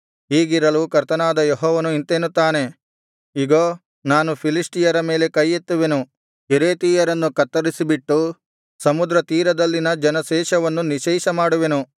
ಹೀಗಿರಲು ಕರ್ತನಾದ ಯೆಹೋವನು ಇಂತೆನ್ನುತ್ತಾನೆ ಇಗೋ ನಾನು ಫಿಲಿಷ್ಟಿಯರ ಮೇಲೆ ಕೈಯೆತ್ತುವೆನು ಕೆರೇತಿಯರನ್ನು ಕತ್ತರಿಸಿಬಿಟ್ಟು ಸಮುದ್ರತೀರದಲ್ಲಿನ ಜನಶೇಷವನ್ನು ನಿಶ್ಶೇಷಮಾಡುವೆನು